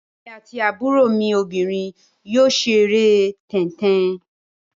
Èmi àti àbúrò mi obìnrin yóò ṣeré tẹ́ń-tẹn.